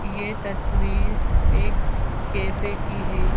यह तस्वीर एक कैफे की है।